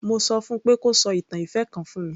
Mo sọ fún un pé kó sọ ìtàn ìfẹ́ kan fún mi.